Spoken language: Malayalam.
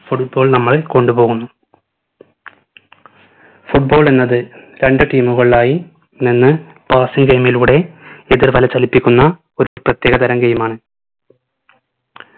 football നമ്മളെ കൊണ്ടുപോകുന്ന football എന്നത് രണ്ട് team ഉകളായി നിന്ന് passing time ലൂടെ എതിർവല ചലിപ്പിക്കുന്ന ഒരു പ്രത്യേക തരാം game ആണ്